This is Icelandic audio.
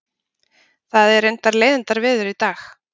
Það er reyndar leiðindaveður í dag